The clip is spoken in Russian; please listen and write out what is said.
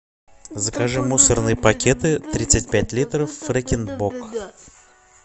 закажи мусорные пакеты тридцать пять литров фрекен бок